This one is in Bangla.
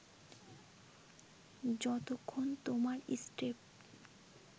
যতক্ষণ তোমার স্টেপ